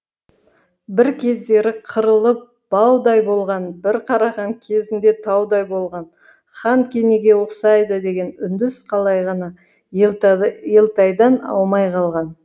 бір кездері қырылып баудай болған бір қараған кезінде таудай болған хан кенеге ұқсайды деген үндіс қалай ғана елтайдан аумай қалған